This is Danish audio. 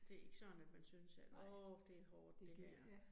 Det ikke sådan, at man synes, at åh det hårdt det her